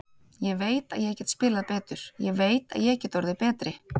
Ég veit að ég get spilað betur, ég veit að ég get orðið betri.